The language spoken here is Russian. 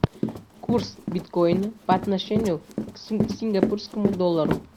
курс биткоина по отношению к сингапурскому доллару